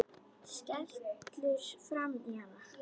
Skellur framan í hann.